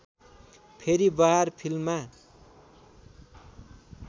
फेरि बहार फिल्ममा